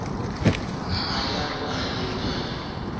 ha a ya a lebile